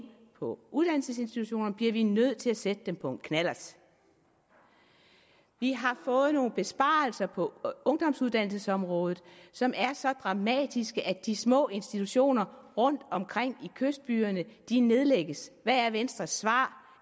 på uddannelsesinstitutionerne bliver vi nødt til at sætte dem på en knallert vi har fået nogle besparelser på ungdomsuddannelsesområdet som er så dramatiske at de små institutioner rundtomkring i kystbyerne nedlægges hvad er venstres svar